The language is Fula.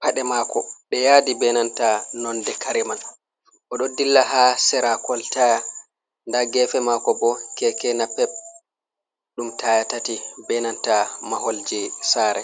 paɗe mako ɗe yadi benanta nonde kare man, o ɗo dilla ha sera koltaya nda gefe mako bo keke na pep ɗum taya tati, benanta mahol je sare.